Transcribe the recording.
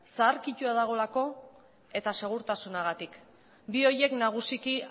zaharkituta dagoelako eta segurtasunagatik bi horiek nagusiki